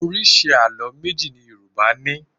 Oríṣi àló méjì ni Yorùbá ní.